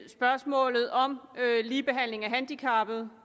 spørgsmålet om ligebehandling af handicappede